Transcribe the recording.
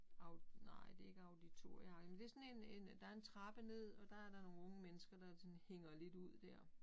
Nej det ikke auditorieagtigt men det sådan en en der en trappe ned og der der nogle unge mennesker der ligesom hænger lidt ud dér